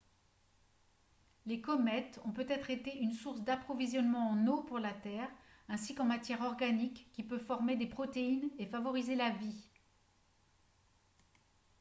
les comètes ont peut-être été une source d'approvisionnement en eau pour la terre ainsi qu'en matière organique qui peut former des protéines et favoriser la vie